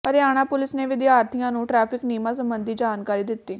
Haryana police ਨੇ ਵਿਦਿਆਰਥੀਆਂ ਨੂੰ ਟ੍ਰੈਫਿਕ ਨਿਯਮਾਂ ਸਬੰਧੀ ਜਾਣਕਾਰੀ ਦਿੱਤੀ